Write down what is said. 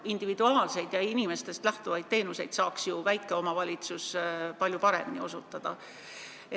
Individuaalseid, inimestest otse lähtuvaid teenuseid saaks ju väike omavalitsus palju paremini osutada.